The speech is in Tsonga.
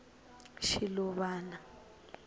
shiluvana